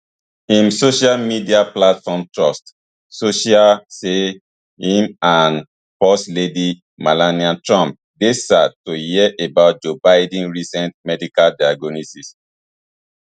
im social media platform truth social say im and first lady melania trump dey sad to hear about joe biden recent medical diagnosis